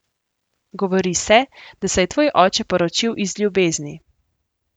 Govori se, da se je tvoj oče poročil iz ljubezni.